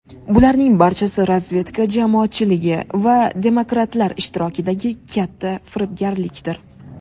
Bularning barchasi razvedka jamoatchiligi va demokratlar ishtirokidagi katta firibgarlikdir.